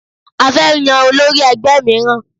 A fẹ́ yan olórí ẹgbẹ́ míràn